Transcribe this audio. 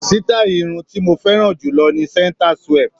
Sítáì irun tí mo fẹ́ràn jù lọ ni centre swept.